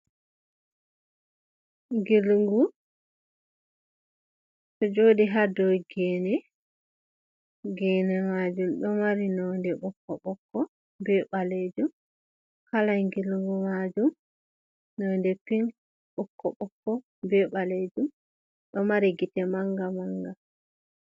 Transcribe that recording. Gilgu ɗo joɗi ha dow gene, gene majum ɗo mari nonde ɓokko ɓokko be ɓalejum. Kala gilgu majum node pin ɓokko ɓokko be ɓalejum ɗo mari gite manga manga.